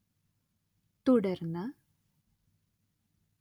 തുടർന്ന്